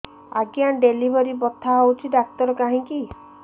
ଆଜ୍ଞା ଡେଲିଭରି ବଥା ହଉଚି ଡାକ୍ତର କାହିଁ କି